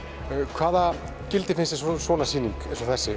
hvaða gildi finnst þér svona sýning